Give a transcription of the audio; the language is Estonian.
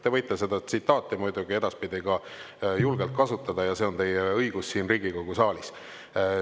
Te võite seda tsitaati muidugi edaspidi ka julgelt kasutada ja see on teie õigus siin Riigikogu saalis.